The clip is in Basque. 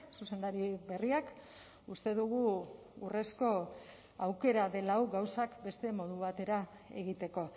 zuzendari berriak uste dugu urrezko aukera dela hau gauzak beste modu batera egiteko